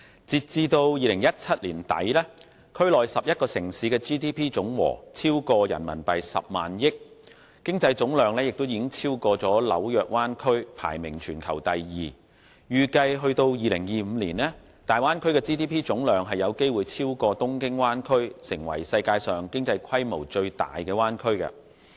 截至2017年年底，區內11個城市的 GDP 總和超過 100,000 億元人民幣，經濟總量已超過紐約灣區，排名全球第二，預計至2025年，大灣區的 GDP 總量有機會超過東京灣區，成為世界上經濟規模最大的灣區。